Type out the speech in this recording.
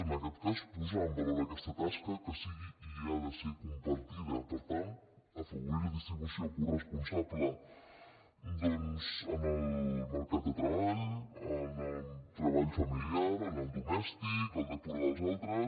en aquest cas posar en valor aquesta tasca que sigui i ha de ser·ho compartida per tant afavorir la distribució coresponsable doncs en el mercat de tre·ball en el treball familiar en el domèstic en el de cura dels altres